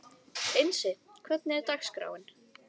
Einsi, hvernig er dagskráin?